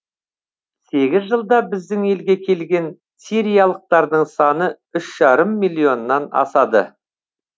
сегіз жылда біздің елге келген сириялықтардың саны үш жарым миллионнан асады